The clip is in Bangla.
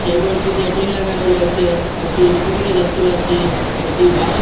এই গরটিতে টিন লাগানো রয়েসে একটি স্কুটি -ও দেখতে পাচ্ছি একটি বাঁশের --